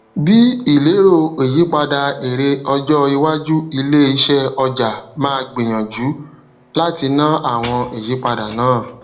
bí ìlérò ìyípadà èrè ọjọ iwájú iléisẹ ọja ma gbinyànjú láti ná àwọn ìyípadà náà